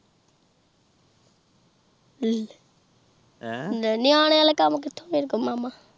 ਲੇਹ ਨਿਆਂਦੇ ਆਲੇ ਕਾਮ ਕਿਥੋਂ ਮੇਰੇ ਕੋ ਮਾਮਾ